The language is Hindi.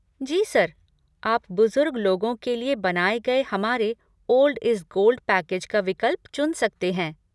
जी सर, आप बुजुर्ग लोगों के लिए बनाए गए हमारे 'ओल्ड इज़ गोल्ड' पैकेज का विकल्प चुन सकते हैं।